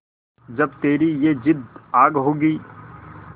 जब तेरी ये जिद्द आग होगी